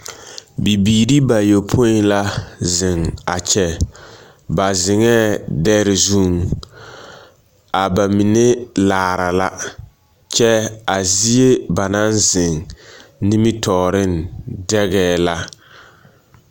Bibiiri bayɔpõĩ la zeŋ a kyɛ. Ba zeŋɛɛ dɛre zuŋ. A ba mine laara la. Kyɛ a zie ba naŋ zeŋ nimitɔɔreŋ dɛgɛɛ la.